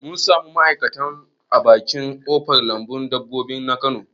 Mun samu wasu ma'aikatan a bakin ƙofar lambun dabbobi na kano